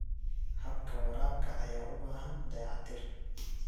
Habka waraabka ayaa u baahan dayactir.